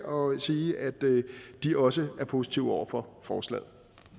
og sige at de også er positive over for forslaget